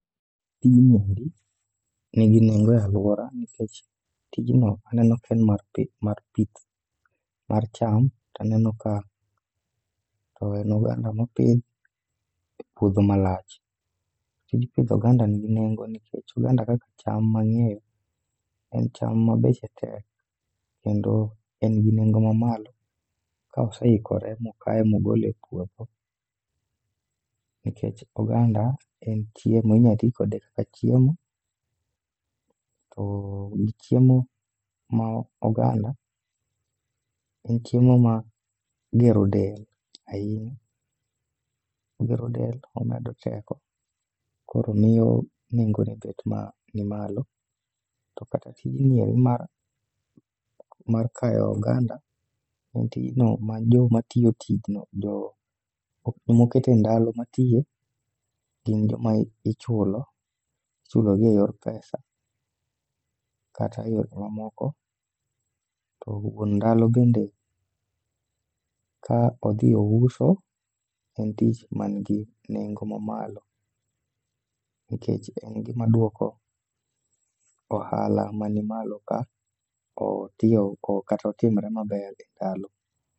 Gini endi nigi nengo e alwora nikech tijno aneno ka en mar pi mar pith mar cham, taneno ka toen oganda mopidh e puodho malach. Tij pidho oganda nigi nengo nikech oganda kaka cham mang'eyo en cham ma beche tek kendo en gi nengo ma malo, ka oseikore mokaye mogole e puodho. Nikech oganda en chiemo inya ti kode kaka chiemo, to gi chiemo ma oganda e chiemo ma gero del ahinya. Ogero del, omedo teko, koro miyo nengo ne bet ma ni malo. To kata tijni endi mar kayo oganda, en tijno ma joma tiyo tijno jo mokete ndalo matiye, gin joma ichulo. Ichulogi e yor pesa kata e yore mamoko. To wuon ndalo bende ka odhi ouso, en tich ma nigi nengo mamalo. Nikech en gima duoko ohala ma ni malo ka otiyo oko kata otimore maber e ndalo.